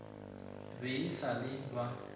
be e sa le ba